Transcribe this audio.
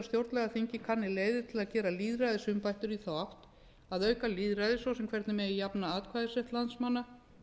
stjórnlagaþingið kanni leiðir til þess að gera lýðræðisumbætur í þá átt að auka lýðræði ss hvernig megi jafna atkvæðisrétt landsmanna